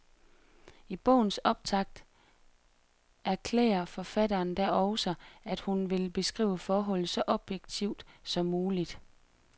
I bogens optakt erklærer forfatteren da også, at hun vil beskrive forholdet så objektivt som muligt.